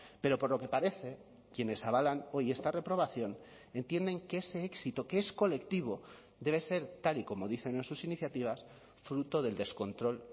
pero por lo que parece quienes avalan hoy esta reprobación entienden que ese éxito que es colectivo debe ser tal y como dicen en sus iniciativas fruto del descontrol